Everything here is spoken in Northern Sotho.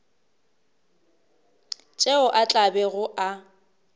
tšeo a tla bego a